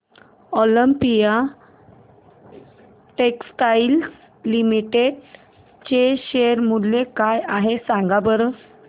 Olympia textiles limited चे share मूल्य काय आहे सांगा बरं